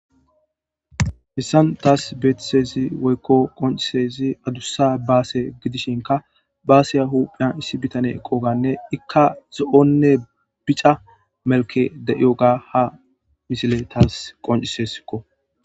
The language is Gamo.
Hissan taas beethithezi woykko qoncisezi adussa baase gidishinka baaseya huphiyan issi bitane eqoganne ikka zo'onne bica melke de'iyo ga ha misile taas qoncisesikko.